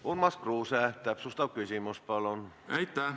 Urmas Kruuse, täpsustav küsimus, palun!